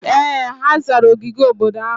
Ee! Ha zara ogige obodo ahụ.